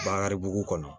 Bakari bu kɔnɔ